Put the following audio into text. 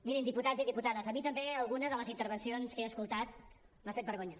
mirin diputats i diputades a mi també alguna de les intervencions que he escoltat m’ha fet vergonya